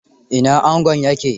Ina angon ya ke?